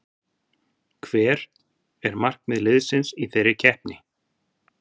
Hver er markmið liðsins í þeirri keppni?